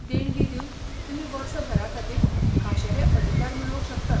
देणगी दिवन तुमी वर्सभराखातीर खाशेले अधिकार मेळोवंक शकतात.